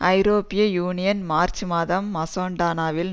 ஐரோப்பிய union March மாதம் மசடோனாவில்